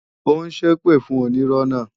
Ó ń ṣépè fún onírọ́ náà